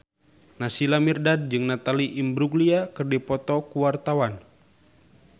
Naysila Mirdad jeung Natalie Imbruglia keur dipoto ku wartawan